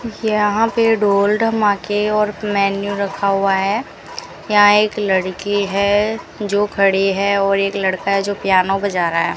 यहां पे ढोल ढमाके और मेन्यू रखा हुआ है यहां एक लड़की है जो खड़ी है और एक लड़का है जो पियानो बजा रहा है।